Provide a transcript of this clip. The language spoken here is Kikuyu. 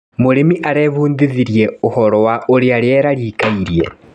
Mũrĩmi arebundithirie ũhoro wa ũrĩa rĩera rĩikaire.